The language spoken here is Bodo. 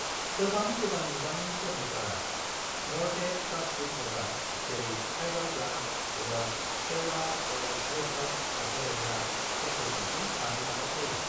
गोबां गोदान मुगानि केन'फोरा म'ल्डेड प्लास्टिक एबा जेरै फाइबार ग्लास एबा केवलार एबा ग्रेफाइट लाफादेरग्रा कम्प'जिटजों बानायजानाय जायो।